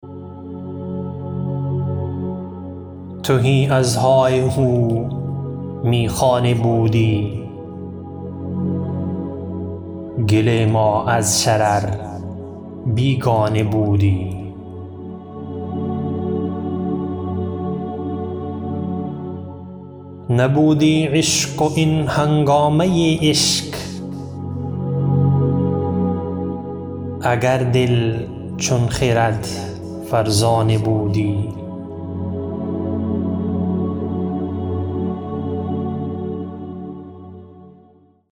تهی از های و هو میخانه بودی گل ما از شرر بیگانه بودی نبودی عشق و این هنگامه عشق اگر دل چون خرد فرزانه بودی